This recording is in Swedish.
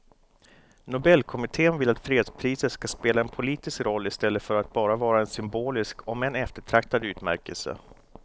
Nobelkommittén vill att fredspriset ska spela en politisk roll i stället för att bara vara en symbolisk om än eftertraktad utmärkelse.